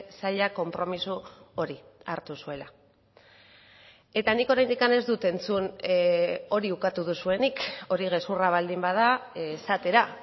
saila konpromiso hori hartu zuela eta nik oraindik ez dut entzun hori ukatu duzuenik hori gezurra baldin bada esatera